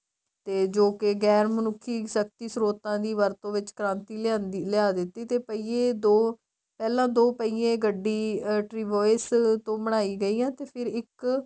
ਤੇ ਜੋ ਕੇ ਗੈਰ ਮਨੁੱਖੀ ਸ਼ਕਤੀ ਸਰੋਤਾਂ ਦੀ ਵਰਤੋ ਵਿੱਚ ਕ੍ਰਾਂਤੀ ਲਿਆ ਦਿੱਤੀ ਤੇ ਪਈਏ ਦੋ ਪਹਿਲਾ ਦੋ ਪਈਏ ਗੱਡੀ tries ਤੋ ਬਣਾਈ ਗਈ ਤੇ ਫਿਰ ਇੱਕ